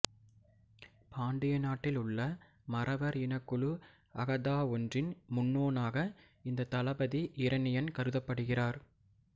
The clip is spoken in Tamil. பாண்டிய நாட்டில் உள்ள மறவர் இனக்குழுஅகதாஒன்றின் முன்னோனாக இந்த தளபதி இரணியன் கருதப்படுகிறார்